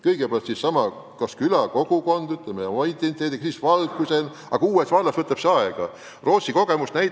Kõigepealt külakogukond oma identiteediga, kui see olemas on, ja siis vald, aga uues vallas võtab identiteedi kujunemine aega.